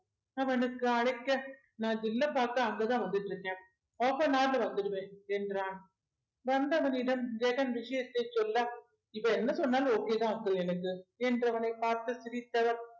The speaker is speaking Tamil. அவனுக்கு அழைக்க நான் ஜில்லப் பார்க்க அங்கதான் வந்துட்டு இருக்கேன் half an hour ல வந்துருவேன் என்றான் வந்தவனிடம் ஜெகன் விஷயத்த சொல்ல இவ என்ன சொன்னாலும் okay தான் uncle எனக்கு என்று அவனைப் பார்த்த சிரித்தவர்